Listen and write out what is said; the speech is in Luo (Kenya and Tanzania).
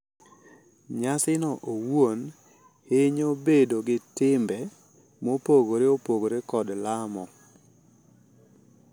Nyasino owuon, hinyo bedo gi timbe mopogore opogore kod lamo.